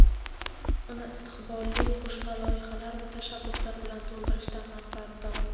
uni istiqbolli qo‘shma loyihalar va tashabbuslar bilan to‘ldirishdan manfaatdor.